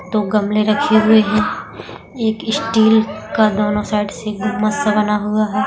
दो गमले रखे हुए हैं एक स्टील का दोनो साइड से सा बना हुआ है।